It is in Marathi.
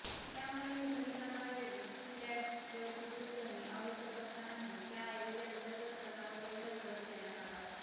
त्यामुळे नूतनीकरणावेळी स्लॅब गळती दूर करणे आवश्यक असतानाही त्याऐवजी अंतर्गत सजावटीवरच भर देण्यात आला होता